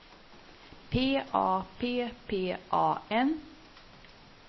P A P P A N